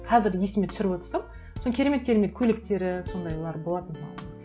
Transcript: қазір есіме түсіріп отырсам сол керемет керемет көйлектері сондайлар болатын